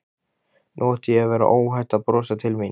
Nú átti að vera óhætt að brosa til mín.